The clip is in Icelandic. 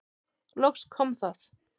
Loks kom það.